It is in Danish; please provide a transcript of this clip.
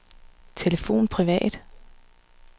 telefon privat